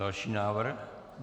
Další návrh.